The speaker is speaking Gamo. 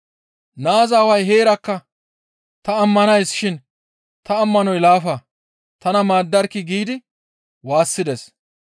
Naaza aaway heerakka, «Ta ammanays shin ta ammanoy laafa, tana maaddarkkii!» giidi waassides.